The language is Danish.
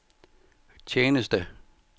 tjeneste